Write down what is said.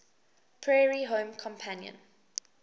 prairie home companion